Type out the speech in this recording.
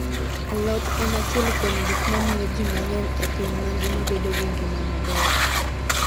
Alot en achiel kuom gik mamiyo ji mang'eny e piny mangima bedo gi ngima maber.